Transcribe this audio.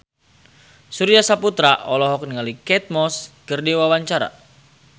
Surya Saputra olohok ningali Kate Moss keur diwawancara